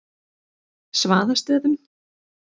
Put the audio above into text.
Svaðastöðum